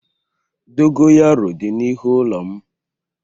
Dogo yaro di n'ihu ulo m